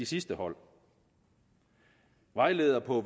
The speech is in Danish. sidste hold vejleder på